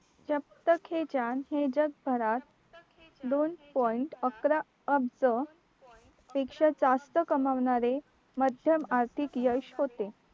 जाब तक हे जान हे जगभरात दोन point अकरा अब्ज पेक्षा जास्त कमावणारे मध्यम आर्थिक यश होते